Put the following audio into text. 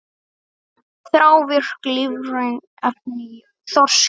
Þrávirk lífræn efni í þorski